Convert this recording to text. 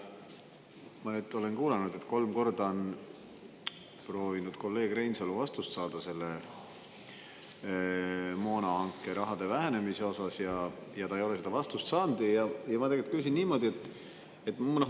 Ma olen nüüd siin kuulanud, kolleeg Reinsalu on kolm korda proovinud vastust saada moonahanke raha vähenemise kohta, aga ta ei ole seda vastust saanud.